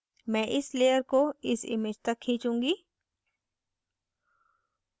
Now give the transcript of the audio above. मैं इस layer को इस image तक खींचूंगी